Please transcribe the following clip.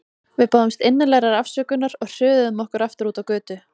Við báðumst innilegrar afsökunar og hröðuðum okkur aftur út á götu.